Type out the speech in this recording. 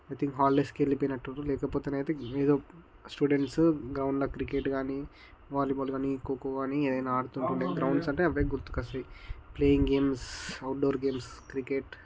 holidays కి వెళ్ళిపోయినట్టున్రు లేకపోతే ఎదో స్టూడెంట్స్ గ్రౌండ్లో క్రికెట్ గాని వాలీబాల్ గాని కోకో గాని ఏదైనా ఆడుతున్నట్టున్నారు గ్రౌండ్స్ అంటే అదే గుర్తుకొస్తయ్ playing games outdoor games cricket